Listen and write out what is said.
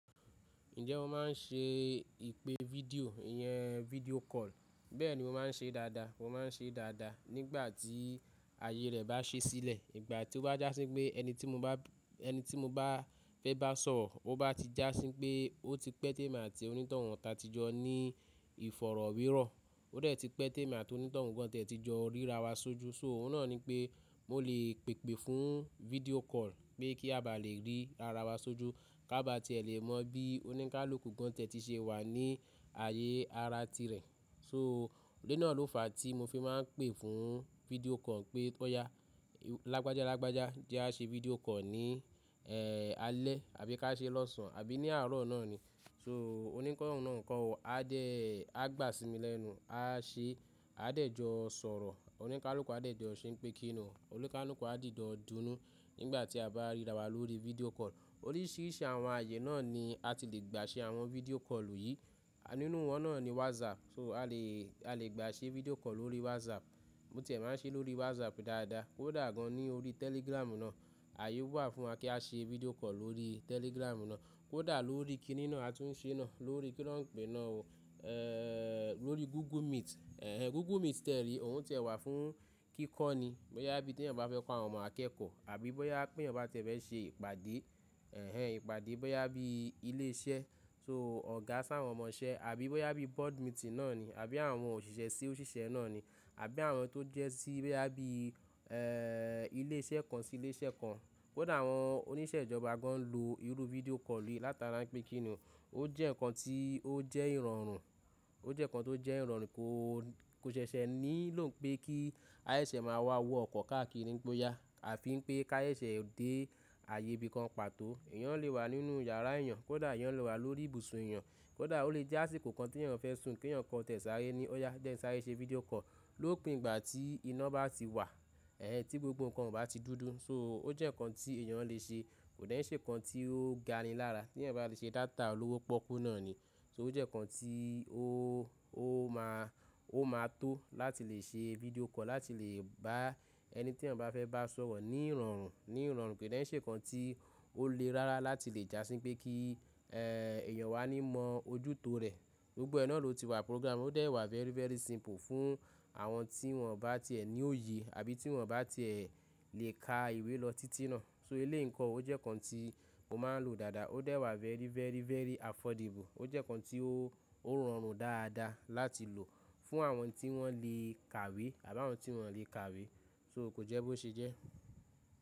Ǹjẹ́ o máa ń ṣe ìpè fídíò, ìyẹn fídíò call? Bẹ́ẹ̀ni mo máa ń ṣe dáadáa. Mo máa ń ṣe dáadáa nígbà tí àyè rẹ̀ bá ṣi sílẹ̀. Ìgbà tí ó bá jásí pé ẹni tí mo bá, ẹni tí mo bá fẹ́ bá sọ̀rọ̀, ó bá ti jásí pé ó ti pẹ́ tèmi àti onítọ̀hún tà tí jọ ní ìfọ̀rọ̀wérọ̀, ó dẹ̀ ti pẹ́ tèmi àti onítọ̀hún gan tẹ̀ ti jọ ríra wa sójú. So òun náà ni pé mo lè pèpè fún fídíò call pé kí a bá lè rí ara wa sójú, ká bá ti ẹ lè mọ bí oníkálùkù gan tiẹ̀ ti ṣe wà ní ààyè ara tirẹ̀. So òde náà ló fàá tí mo fi máa ń pè fún fídíò call pé óyá lágbájá lágbájá jẹ a ṣe fídíò call ní, ẹ́ẹ́, alẹ́ àbí ká ṣe lọ́sàn-án àbí ní àárọ̀ náà ni. So onítọ̀hún náà ń kọ̀ o, a dẹ́, a gbà sími lẹ́nu, a ṣe, a dẹ̀ jọ sọ̀rọ̀. Oníkálùkù a dẹ̀ jọ ṣé pé kín ni, oníkálùkù a dìjọ dunú nígbà tí a bá ríra wa lórí fídíò call. Oríṣiríṣi àwọn ààyè náà ni a ti lè gbà ṣe àwọn fídíò call yìí. Àá nínú wọn náà ni WhatsApp. So a lè, a lè gbà ṣe fídíò call lórí WhatsApp. Mo tìẹ máa ń ṣe é lórí WhatsApp dáadáa. Kódà gan ní orí Telegram náà, ààyè wà fún wa kí á ṣe fídíò call lórí Telegram náà. Kódà lórí kí nin náà a tún ṣe náà, lórí kí na n pe náà o. Ẹ́ẹ́ẹ́, lórí Google Meet. Ẹ̀hẹn, Google Meet tìẹ re, òun tìẹ wà fún kíkọ́ ni. Bóyá bí tí èèyàn bá fẹ́ pa àwọn ọmọ akẹ́kọ̀ọ́, àbí bóyá pé èèyàn bá ti ẹ fẹ́ ṣe ìpàdé, ẹ̀hẹn ìpàdé bóyá bí ilé iṣẹ́, so ọ̀gá s'á àwọn ọmọ iṣẹ́, àbí bóyá bí board meeting náà ni, àbí àwọn òṣìṣẹ́ sí òṣìṣẹ́ náà ni, àbí àwọn tó jẹ́ sí bóyá bí, ẹ́ẹ́, ilé iṣẹ́ kan sí ilé iṣẹ́ kan. Kódà àwọn oníṣẹ́ ìjọba gan n ló irú fídíò call yìí látara pé kín ni, ó jẹ́ ǹkan tí ó jẹ́ ìrọ̀rùn. Ó jẹ́ ǹkan tó jẹ́ ìrọ̀rùn kò, kò ṣẹṣẹ nílò pé kí ayẹṣẹ máa wá wọ ọkọ̀ káàkiri ní pé óyá. Àfi pé ká yẹṣẹ dé ààyè ibí kan pàtó. Èèyàn lè wà nínú yàrá èèyàn, kódà èèyàn lè wà lórí ibùsùn èèyàn, kódà ó lè jásí kòkan tí èèyàn fẹ́ sùn kí èèyàn kó tẹ̀ẹ́ sáré ni. Ó yá jẹ́ kí n sáré ṣe fídíò call lópin ìgbà tí iná bá ti wà. Ẹ̀hẹn, tí gbogbo ǹkan ò bá ti dúdú. So ó jẹ́ ǹkan tí èèyàn lè ṣe. Kò dẹ́ n ṣe ǹkan tí ó ga ni lára tí èèyàn bá ti ṣe data olówó pọ́kú náà ni. So ó jẹ́ ǹkan tí ó, ó máa, ó máa tó láti lè ṣe fídíò call láti lè bá ẹni tí èèyàn bá fẹ́ bá sọ̀rọ̀ ní ìrọ̀rùn, ní ìrọ̀rùn. Kò dẹ́ n ṣe ǹkan tí ó le rárá láti lè jásí pé kí, ẹ́ẹ́, èèyàn o wá ní mọ ojútò rẹ̀. Gbogbo ẹ náà ló ti wà program. Ó dẹ̀ẹ́ wà very, very simple fún àwọn tí wọ́n bá ti ẹ ní òye àbí tí wọ́n bá ti ẹ lè ka ìwé lọ títí náà. So eléyìí nkọ o, ó jẹ́ ǹkan tí mo máa ń lò dáadáa. Ó dẹ̀ẹ́ wà very, very, very affordable. Ó jẹ́ ǹkan tí ó, ó rọrùn dáadáa láti lò fún àwọn tí wọ́n lè kàwé àbí àwọn tí wọ́n lè kàwé. So kò jẹ́ bó ṣe jẹ́.